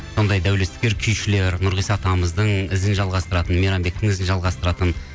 сондай дәулескер күйшілер нұрғиса атамыздың ізін жалғастыратын мейрамбектің ізін жалғастыратын